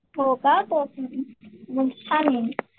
हो का कोकणातली